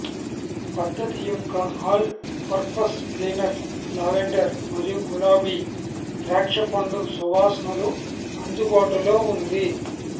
పద్ధతి యొక్క all purpose cleaner lavender మరియు గులాబీ ద్రాక్షపండు సువాసనలు అందుబాటులో ఉంది